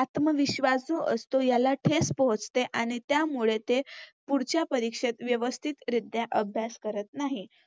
आतमविश्वासू असतो याला ठेस पोहचते आणि त्यामुळे ते पुढच्या परीक्षेत व्यवस्थितरीत्या अभ्यास करत नाहीत.